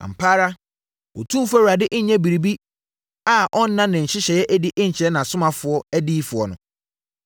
Ampa ara, Otumfoɔ Awurade nnyɛ biribi a ɔnna ne nhyehyeɛ adi nkyerɛ nʼAsomafoɔ adiyifoɔ no.